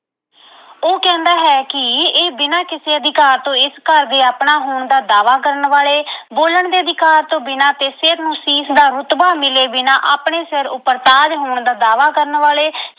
ਉਹ ਕਹਿੰਦਾ ਹੈ ਕਿ ਇਹ ਬਿਨ੍ਹਾਂ ਕਿਸੇ ਅਧਿਕਾਰ ਤੋਂ ਇਸ ਘਰ ਦੇ ਆਪਣਾ ਹੋਣ ਦਾ ਦਾਅਵਾ ਕਰਨ ਵਾਲੇ, ਬੋਲਣ ਦੇ ਅਧਿਕਾਰ ਤੋਂ ਬਿਨ੍ਹਾਂ ਤੇ ਸਿਰ ਨੂੰ ਸੀਸ ਦਾ ਰੁਤਬਾ ਮਿਲੇ ਬਿਨ੍ਹਾਂ ਆਪਣੇ ਸਿਰ ਉੱਪਰ ਤਾਜ ਹੋਣ ਦਾ ਦਾਅਵਾ ਕਰਨ ਵਾਲੇ।